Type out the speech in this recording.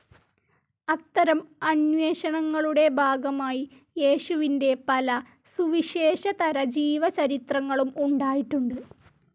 അത്തരം അന്വേഷണങ്ങളുടെ ഭാഗമായി യേശുവിൻ്റെ പല സുവിശേഷേതര ജീവചരിത്രങ്ങളും ഉണ്ടായിട്ടുണ്ട്.